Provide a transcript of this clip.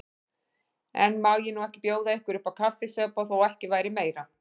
En má ég nú ekki bjóða ykkur uppá kaffisopa, þó ekki væri meira.